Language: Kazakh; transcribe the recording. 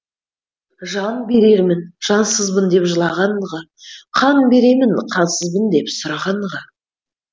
жан берермін жансызбын деп жылағанға қан беремін қансызбын деп сұрағанға